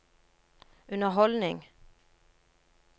underholdning